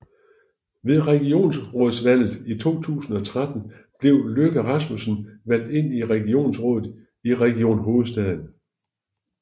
Ved regionsrådsvalget i 2013 blev Løkke Rasmussen valgt ind i regionsrådet i Region Hovedstaden